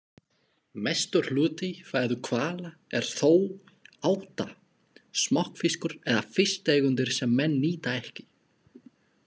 Mestur hluti fæðu hvala er þó áta, smokkfiskur eða fisktegundir sem menn nýta ekki.